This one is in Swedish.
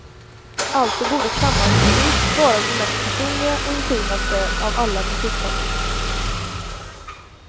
Alltså borde kammarmusik vara den mest personliga och intimaste av alla musikformer.